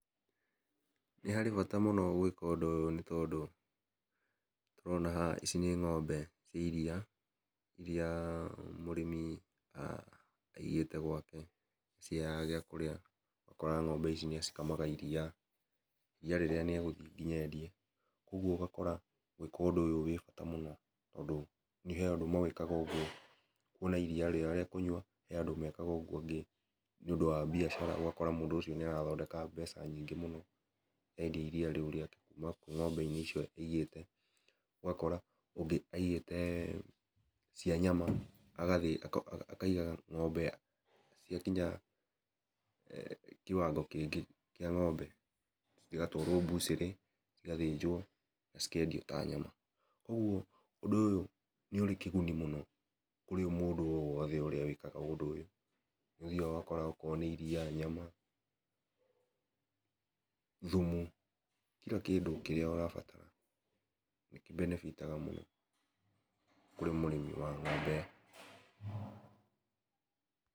Nĩ harĩ bata mũno gwĩka ũndũ ũyũ nĩ tondũ, nĩtũrona haha ici nĩ ng'ombe cia iriia iriia mũrĩmi a ĩgĩte gwake na ĩtĩagaga gĩa kũrĩa ũgakora ng'ombe ici nĩ acikamaga iriia , iriia rĩrĩa nĩ agũthiĩ ngĩnya endie ũgũo ũgakora gwĩka ũndũ ũyũ gwĩ bata mũno tondũ nĩ he andũ mekaga ũgũo makona irIia rĩao rĩa kũnyũa he andũ mekaga ũgũo angĩ nĩ ũndũ wa biacara ũgakora mũndũ ũcio nĩ ara thondeka mbeca nyingĩ mũno endia iriia rĩũ rĩake kũma kwĩ ng'ombe icio aigĩte ũgakora ũngĩ aigĩte cia nyama agathiĩ akaiga ng'ombe cia kinya kĩwangĩ kĩngĩ kĩa ngómbe cigatwarwo cigathĩnjwo cikendio ta nyama , ũndũ ũyũ ũrĩ kĩgũni kũrĩ mũndũ o wothe ũrĩa wĩkaga ũndũ ũyũ nĩ ũthiaga ũgakora o korwo nĩ iriia, nyama, thumu kira kĩndũ kĩrĩa ũrabatara nĩkĩbenebitaga mũno kũrĩ mũrĩmi wa ng'ombe .